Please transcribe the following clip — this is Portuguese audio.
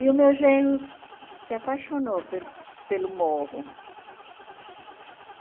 E o meu genro se apaixonou pelo pelo morro.